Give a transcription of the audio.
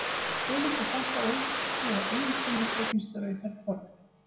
Svo er líka sagt að ótrúar eiginkonur eignist rauðhærð börn.